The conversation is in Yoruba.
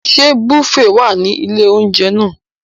Ṣé bùféè wà ní ilé-oúnjẹ náà?